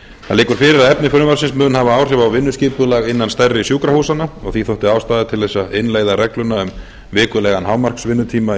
liggur fyrir að efni frumvarpsins mun hafa áhrif á vinnuskipulag innan stærri sjúkrahúsanna og því þótti ástæða til þess að innleiða regluna um vikulegan hámarksvinnutíma í